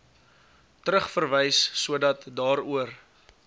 terugverwys sodat daaroor